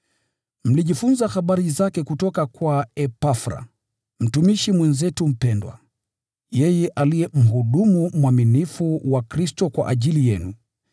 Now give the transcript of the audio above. Mlijifunza habari zake kutoka kwa Epafra, mtumishi mwenzetu mpendwa, yeye aliye mhudumu mwaminifu wa Kristo kwa ajili yenu,